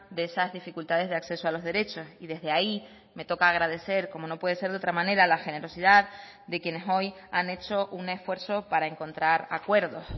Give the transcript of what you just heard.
de esas dificultades de acceso a los derechos y desde ahí me toca agradecer como no puede ser de otra manera la generosidad de quienes hoy han hecho un esfuerzo para encontrar acuerdos